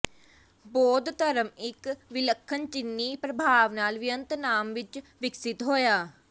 ਬੌਧ ਧਰਮ ਇੱਕ ਵਿਲੱਖਣ ਚੀਨੀ ਪ੍ਰਭਾਵ ਨਾਲ ਵਿਅਤਨਾਮ ਵਿੱਚ ਵਿਕਸਿਤ ਹੋਇਆ